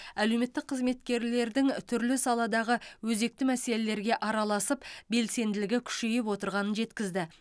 әлеуметтік қызметкерлердің түрлі саладағы өзекті мәселелерге араласып белсенділігі күшейіп отырғанын жеткізді